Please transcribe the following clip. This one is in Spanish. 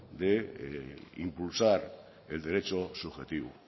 de impulsar el derecho subjetivo